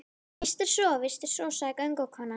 Víst er svo, víst er svo, sagði göngukonan.